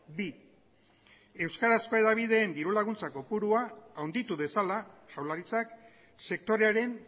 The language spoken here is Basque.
bi euskarazko hedabideen diru laguntza kopurua handitu dezala jaurlaritzak sektorearen